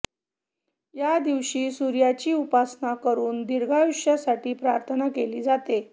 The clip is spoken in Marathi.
या दिवशी सूर्याची उपासना करून दीर्घायुष्यासाठी प्रार्थना केली जाते